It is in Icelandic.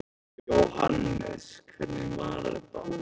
Jóhannes: Hvernig var þetta?